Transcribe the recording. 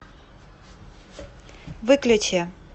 выключи